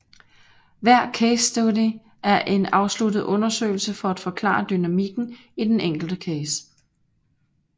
Hver casestudie er en afsluttet undersøgelse for at forklare dynamikken i den enkelte case